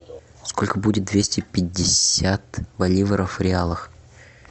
сколько будет двести пятьдесят боливаров в реалах